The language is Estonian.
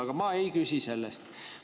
Aga ma ei küsi selle kohta.